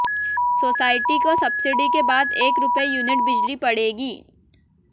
society को subsidy के बाद एक रुपये यूनिट बिजली पड़ेगी